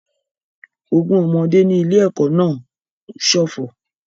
Ogún ọmọdé ní ilé-ẹ̀kọ́ náà ń ṣọ̀fọ̀